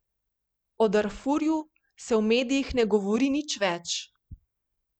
O Darfurju se v medijih ne govori nič več.